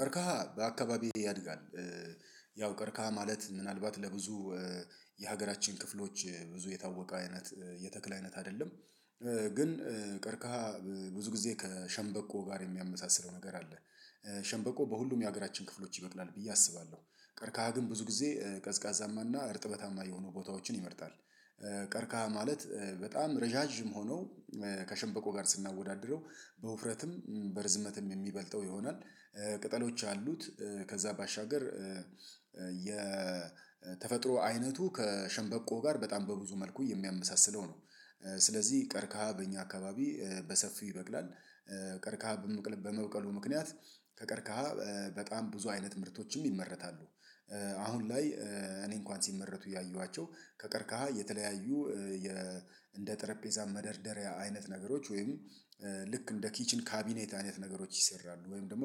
ቀርካሃ በአካባቢዬ ያድጋል። ያው ቀርካሃ ማለት ምናልባት ለብዙ የሀገራችን ክፍሎች ብዙ የታወቀ አይነት የተክል አይነት አይደለም። ግን ቀርከሃ ብዙ ጊዜ ከሸንበቆ ጋር የሚያመሳስለው ነገር አለ። ሸንበቆ በሁሉም የሀገራችን ክፍሎች ይበቅላል ብዬ አስባለሁ። ቀርካሃ ግን ብዙ ጊዜ ቀዝቃዛማና እርጥበታማ የሆኑ ቦታዎችን ይመርጣል። ቀርካህ ማለት በጣም ረዣዥም ሆነው ከሸንበቆ ጋር ስናወዳድረው በውፍረትም በርዝመትም የሚበልጠው ይሆናል። ቅጠሎች አሉት። ከዛ ባሻገር የተፈጥሮ አይነቱ ከሸንበቆ ጋር በጣም በብዙ መልኩ የሚያመሳስለው ነው። ስለዚህ ቀርከሃ በእኛ አካባቢ በሰፊው ይበቅላል። ቀርከሃ በመብቀሉ ምክንያት ከቀርከሃ በጣም ብዙ አይነት ምርቶችም ይመረታሉ። አሁን ላይ እኔ እንኳን ሲመረቱ ያየዋቸው ከቀርካሃ የተለያዩ የ እንደ ጠረጴዛ መደርደሪያ አይነት ነገሮች ወይም ልክ እንደ ኪችን ካቢኔት አይነት ነገሮች ይሰራሉ። ወይም ደግሞ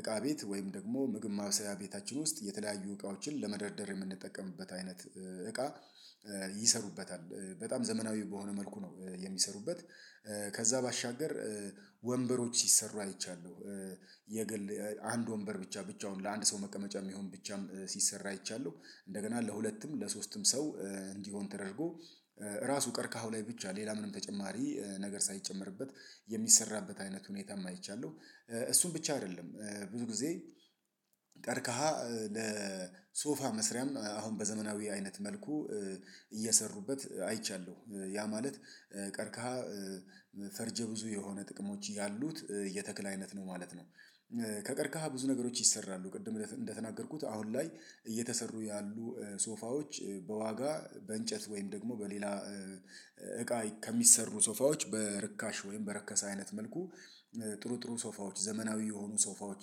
እቃ ቤት ወይም ደግሞ ምግብ ማብሰያ ቤታችን ውስጥ የተለያዩ እቃዎችን ለመደርደር የምንጠቀምበት አይነት እቃ ይሰሩበታል። በጣም ዘመናዊ በሆነ መልኩ ነው የሚሰሩበት። ከዛ ባሻገር ወንበሮች ሲሰሩ አይቻለሁ። የግል አንድ ወንበር ብቻ ብቻውን ለአንድ ሰው መቀመጫ የሚሆን ብቻም ሲሰራ አይቻለሁ። እንደገና ለሁለትም ለሶስትም ሰው እንዲሆን ተደርጎ ራሱ ቀርካሃው ላይ ብቻ ሌላ ምንም ተጨማሪ ነገር ሳይጨመርበት የሚሰራበት አይነት ሁኔታም አይቻለሁ። እሱን ብቻ አይደለም ብዙ ጊዜ ቀርከሃ ለሶፋ መስሪያም አሁን በዘመናዊ አይነት መልኩ እየሰሩበት አይቻለሁ። ያ ማለት ቀርከሃ ፈርጀ ብዙ የሆነ ጥቅሞች ያሉት የተክል አይነት ነው ማለት ነው። ከቀርከሃ ብዙ ነገሮች ይሰራሉ ቅድም እንደተናገርኩት አሁን ላይ እየተሰሩ ያሉ ሶፋዎች በዋጋ በእንጨት ወይም በሌላ እቃ ከሚሰሩ ሶፋዎች በርካሽ ወይም በረከሰ አይነት መልኩ ጥሩ ጥሩ ሶፋዎች ዘመናዊ የሆኑ ሶፋዎች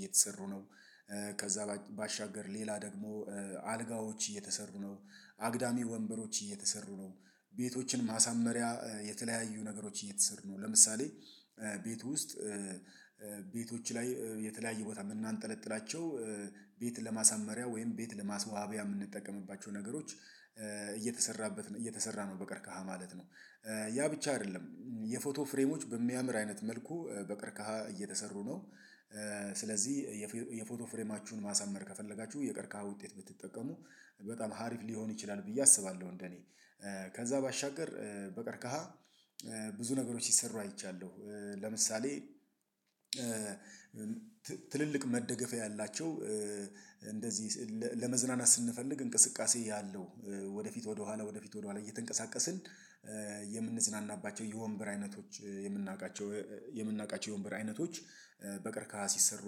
እየተሰሩ ነው። ከዛ ባሻገር ሌላ ደግሞ አልጋዎች እየተሰሩ ነው። አግዳሚ ወንበሮች እየተሰሩ ነው። ቤቶችን ማሳመሪያ የተለያዩ ነገሮችን እየተሰሩ ነው ለምሳሌ ቤት ውስጥ ቤቶች ላይ የተለያየ ቦታ የምናንጠለጥላቸው ቤት ለማሳመሪያ ወይም ቤት ለማስዋቢያ የምንጠቀምባቸው ነገሮች እየተሰራበት እየተሰራ ነው በቀርከሃ ማለት ነው። ያ ብቻ አይደለም የፎቶ ፍሬሞች በሚያምር አይነት መልኩ በቅርከሃ እየተሰሩ ነው። ስለዚህ የፎቶ ፍሬማችሁን ማሰመር ከፈለጋችሁ የቀርካሃ ውጤት ብትጠቀሙ በጣም አሪፍ ሊሆን ይችላል። ብዬ አስባለሁ እንደኔ ከዛ ባሻገር በቀርከሃ ብዙ ነገሮች ሲሰሩ አይቻለሁ። ለምሳሌ ትልልቅ መደገፊያ ያላቸው እንደዚህ ለመዝናናት ስንፈልግ እንቅስቃሴ ያለው ወደፊት ወደኋላ ወደፊት ወደኋላ እየተንቀሳቀስን የምንዝናናባቸው የወንበር አይነቶች የምናውቃቸው የምናውቃቸው የወንበር አይነቶች በቀርከሃ ሲሰሩ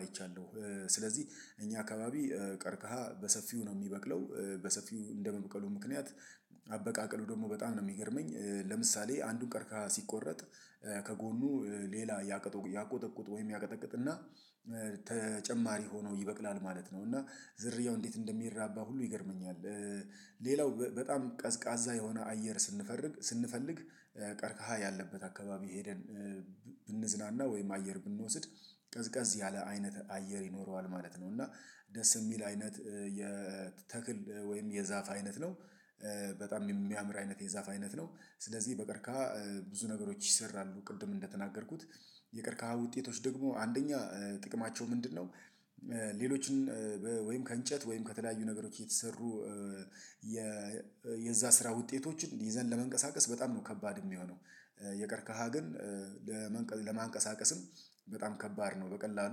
አይቻለሁ። ስለዚህ እኛ አካባቢ ቀርከሃ በሰፊው ነው የሚበቅለው በሰፊው እንደመብቀሉ ምክንያት አበቃቀሉ ደግሞ በጣም ነው የሚገርመኝ። ለምሳሌ አንዱን ቀርከሃ ሲቆረጥ ከጎኑ ሌላ እያቀጠቁ እያቀጠቆጡ ወይም ያቀጠቅጥና ተጨማሪ ሆኖ ይበቅላል ማለት ነው። እና ዝርያው እንዴት እንደሚራባ ሁሉ ይገርመኛል። ሌላው በጣም ቀዝቃዛ የሆነ አየር ስንፈርግ ስንፈልግ ቀርከሃ ያለበት አካባቢ ሄደን ብንዝናና ወይም አየር ብንወስድ ቀዝቃዝ ያለ አይነት አየር ይኖረዋል ማለት ነው። እና ደስ የሚል አይነት የተክል ወይም የዛፍ አይነት ነው። በጣም የሚያምር አይነት የዛፍ አይነት ነው። ስለዚህ በቀርከሃ ብዙ ነገሮች ይሰራሉ ቅድም እንደተናገርኩት የቀርከሃ ውጤቶች ደግሞ አንደኛ ጥቅማቸው ምንድነው? ሌሎችን ወይም ከእንጨት ወይም ከተለያዩ ነገሮች የተሰሩ የ የዛ ስራ ውጤቶችን ይዘን ለመንቀሳቀስ በጣም ነው ከባድ የሚሆነው። የቀርከሃ ግን ለመንቀ ለማንቀሳቀስም በጣም ከባድ ነው በቀላሉ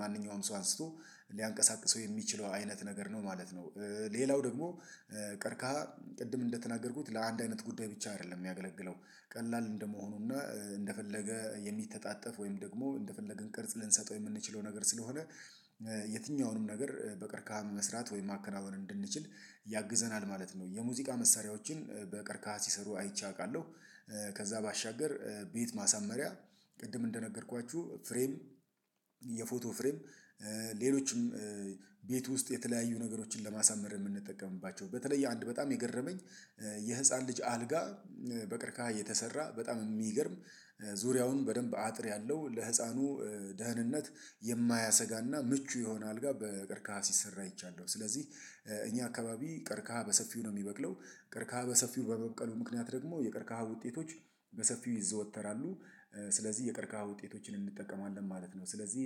ማንኛውንም ሰው አንስቶ ሊያንቀሳቅሰው የሚችለው አይነት ነገር ነው ማለት ነው። ሌላው ደግሞ ቀርከሃ ቅድም እንደተናገርኩት ለአንድ አይነት ጉዳይ ብቻ አይደለም የሚያገለግለው። ቀላል እንደመሆኑና እንደፈለገ የሚተጣጠፍ ወይም ደግሞ እንደፈለግን ቅርጽ ልንሰጠው የምንችለው ነገር ስለሆነ። የትኛውንም ነገር በቀርከሃም መስራት ወይም ማከናወን እንድንችል ያግዘናል ማለት ነው። የሙዚቃ መሳሪያዎችን በቀርከሃ ሲሰሩ አይቼ አውቃለሁ። ከዛ ባሻገር ቤት ማሳመሪያ ቅድም እንደነገርኳችሁ ፍሬም የፎቶ ፍሬም ሌሎችም ቤት ውስጥ የተለያዩ ነገሮችን ለማሳመር የምንጠቀምባቸው በተለይ አንድ በጣም የገረመኝ። የህፃን ልጅ አልጋ በቀርከሃ እየተሰራ በጣም የሚገርም ዙሪያውን በደንብ አጥር ያለው ለህፃኑ ደህንነት የማያሰጋና ምቹ የሆነ አልጋ በቀርከሃ ሲሰራ አይቻለሁ። ስለዚህ እኛ አካባቢ ቀርከሃ በሰፊው ነው የሚበቅለው። ቀርከሃ በሰፊው በመብቀሉ ምክንያት ደግሞ የቀርከሃ ውጤቶች በሰፊው ይዘወተራሉ። ስለዚህ የቀርከሃ ውጤቶችን እንጠቀማለን ማለት ነው። ስለዚህ